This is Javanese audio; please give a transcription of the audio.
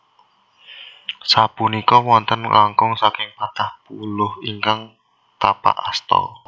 Sapunika wonten langkung saking patang puluh ingkang tapak asta